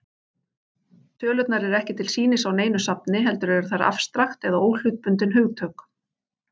Tölurnar eru ekki til sýnis á neinu safni, heldur eru þær afstrakt eða óhlutbundin hugtök.